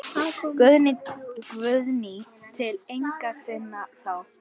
Guðný: Til eigenda sinna þá?